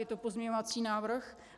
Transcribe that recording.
Je to pozměňovací návrh.